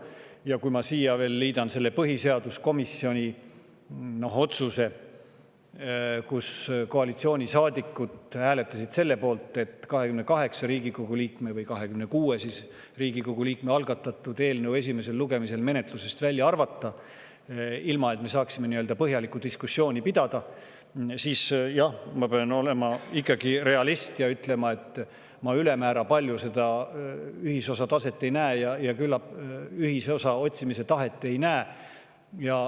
Ja kui ma liidan siia veel selle põhiseaduskomisjoni otsuse – koalitsioonisaadikud hääletasid selle poolt –, et 28 või 26 Riigikogu liikme algatatud eelnõu esimesel lugemisel menetlusest välja arvata, ilma et me saaksime põhjalikku diskussiooni pidada, siis jah, ma pean olema ikkagi realist ja ütlema, et ma ülemäära palju seda ühisosa otsimise tahet ei näe.